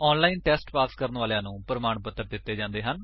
ਜੋ online test pass ਕਰਦੇ ਹਨ ਉਨ੍ਹਾਂਨੂੰ ਪ੍ਰਮਾਣ ਪੱਤਰ ਵੀ ਦਿੰਦੇ ਹਨ